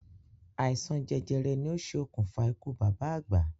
Àìsàn jẹjẹrẹ ni o ṣe òkùnfà ikú bàbá àgbà